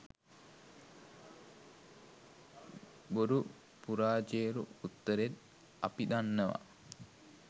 බොරු පුරාජේරු උත්තරෙත් අපි දන්නවා